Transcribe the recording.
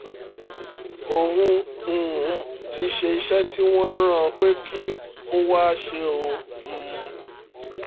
òun um ti ṣe iṣẹ́ tí wọ́n rán an pé kó wáá ṣe o um